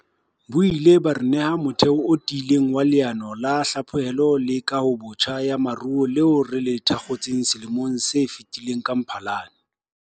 Bo ile ba re neha motheo o tiileng wa Leano la Hlaphohelo le Kahobotjha ya Moruo leo re le thakgotseng selemong se fetileng ka Mphalane.